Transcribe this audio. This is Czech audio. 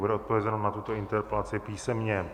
Bude odpovězeno na tuto interpelaci písemně.